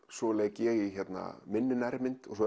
svo leik ég í minni nærmynd og svo